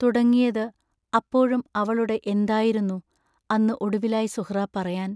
തുടങ്ങിയത് അപ്പോഴും അവളുടെ എന്തായിരുന്നു അന്ന് ഒടുവിലായി സുഹ്റാ പറയാൻ